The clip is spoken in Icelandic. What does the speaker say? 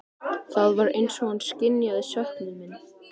Borgfirðingar mínir munu vel duga, sagði biskup.